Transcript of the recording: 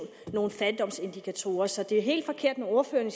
nogle fattigdomsindikatorer så det er helt forkert når ordføreren